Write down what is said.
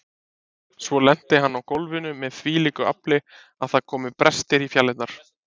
Svo lenti hann á gólfinu með þvílíku afli að það komu brestir í fjalirnar.